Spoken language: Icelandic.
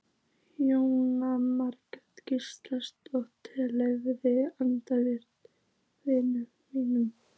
Jóhanna Margrét Gísladóttir: Leyfa atvinnulífinu að vinna?